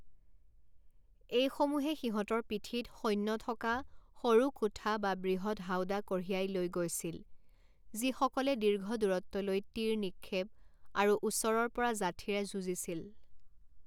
এইসমূহে সিহঁতৰ পিঠিত সৈন্য থকা সৰু কোঠা বা বৃহৎ হাওদা কঢ়িয়াই লৈ গৈছিল, যিসকলে দীৰ্ঘদূৰত্বলৈ তীৰ নিক্ষেপ আৰু ওচৰৰ পৰা যাঠিৰে যুঁজিছিল।